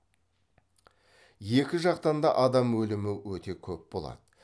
екі жақтан да адам өлімі өте көп болады